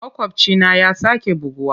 Makwabcina ya sake buguwa.